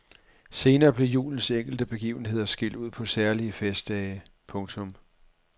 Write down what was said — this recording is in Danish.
Senere blev julens enkelte begivenheder skilt ud på særlige festdage. punktum